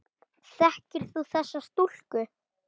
Þekkir þú þessa stúlku?